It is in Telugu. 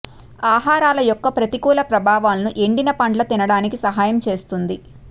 ఆహారాలు యొక్క ప్రతికూల ప్రభావాలను ఎండిన పండ్ల తినడానికి సహాయం చేస్తుంది